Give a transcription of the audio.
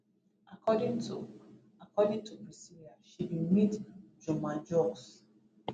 according to according to priscilla she bin meet juma jux